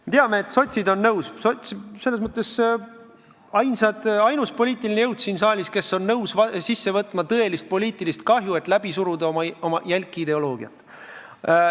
Me teame, et sotsid on nõus, sotsid on selles mõttes ainus poliitiline jõud siin saalis, kes on nõus tõelise poliitilise kahjuga, et läbi suruda oma jälki ideoloogiat.